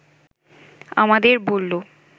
আমাদের বলল